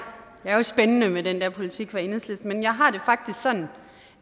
spændende med den der politik hos enhedslisten jeg har det faktisk sådan